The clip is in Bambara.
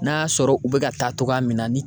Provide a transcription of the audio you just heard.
N'a sɔrɔ u bɛ ka taa togoya min na ni